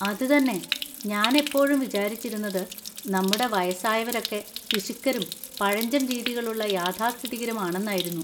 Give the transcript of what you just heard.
അത് തന്നെ! ഞാൻ എപ്പോഴും വിചാരിച്ചിരുന്നത് നമ്മുടെ വയസ്സായവരൊക്കെ പിശുക്കരും പഴഞ്ചൻ രീതികളുള്ള യഥാസ്ഥിതികരും ആണെന്നായിരുന്നു.